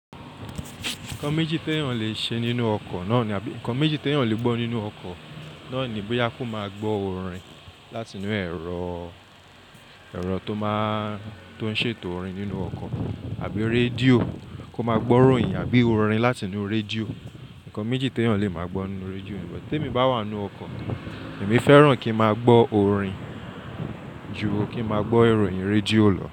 Nǹkan méjì tí èèyàn lè ṣe nínú ọkọ̀ náà ni, nǹkan méjì tí èèyàn lè gbọ́ nínú ọkọ̀ náà ni bóyá kó máa gbọ́ orin láti inú ẹ̀rọ, ẹ̀rọ tó máa, tó ń ṣètò orin nínú ọkọ̀ àbí rédíò kó máa gbọ́ ìròyìn àbí orin láti inú rédíò. Nǹkan méjì tí èèyàn lè máa gbọ́ nínú rédíò ni. Bó tí èmi bá wà nínú ọkọ̀, èmi fẹ́ràn kí n máa gbọ́ orin ju kí n máa gbọ́ ìròyìn rédíò lọ.